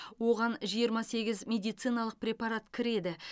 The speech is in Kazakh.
оған жиырма сегіз медициналық препарат кіреді